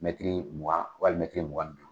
Mɛtiri mugan wali mɛtiri mugan ni duuru.